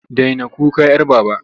Daina kuka 'yar Baba!